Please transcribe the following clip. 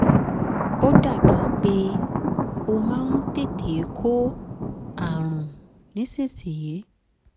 ó dàbíi pé ó máa ń tètè kó ààrùn nísinsìnyí